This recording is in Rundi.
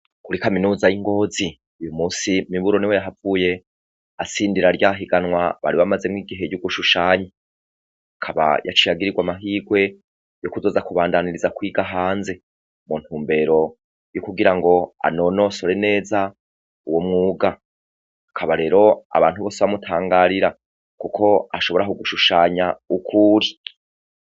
Kuri kaminuza y'i Ngozi, uyu munsi Miburu niwe yahavuye atsindira rya higanwa bari bamazemwo igihe ryo gushushanya, akaba yaciye agirigwa amahigwe yo kuzoza kubandanyiriza kwiga hanze mu ntumbero yo kugira ngo anonosore neza uwo mwuga, akaba rero abantu bose bamutangarira kuko ashobora kugushushanya uko uri.